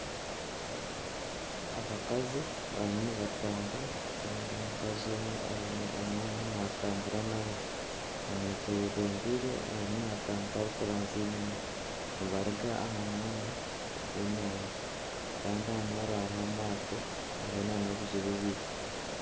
Abakazi barimu nibatambura kandi omukazi omwe aine omwana naatambura nawe. Omwishiki ayebembiire arimu naatambura arikuraanzya enyima. Nibaruga aha mwaro gw'enyanja kandi aha mwaro hariho amaato hariho nana obuju bubiri.